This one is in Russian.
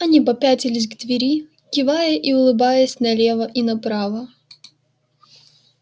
они попятились к двери кивая и улыбаясь налево и направо